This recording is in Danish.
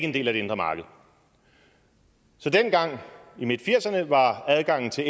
en del af det indre marked så dengang i midtfirserne var adgangen til